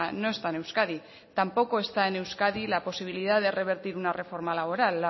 no está en euskadi tampoco está en euskadi la posibilidad de revertir una reforma laboral